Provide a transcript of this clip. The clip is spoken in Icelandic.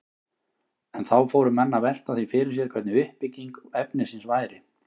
En þá fóru menn að velta því fyrir sér hvernig uppbygging efnisins væri.